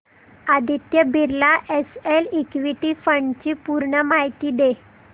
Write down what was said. Aditya Birla SL equity fund D ची पूर्ण माहिती दे